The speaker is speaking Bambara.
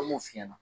An b'o f'i ɲɛna